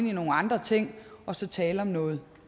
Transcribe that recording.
i nogle andre ting og så tale om noget